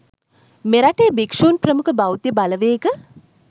මෙරටේ භික්ෂුන් ප්‍රමුඛ බෞද්ධ බලවේග